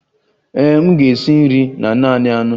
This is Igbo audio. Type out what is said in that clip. Ee e, m ga-esi nri na naanị anụ